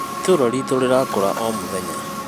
itũra ritũ rĩrakũra omũthenya